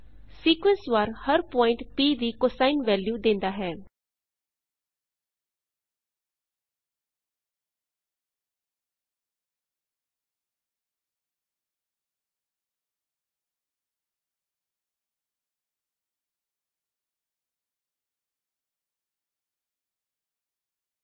ਇਸ ਲਈ ਅਸੀਂ ਪਲਾਟ ਕਮਾਂਡ ਵਰਤਾਂਗੇ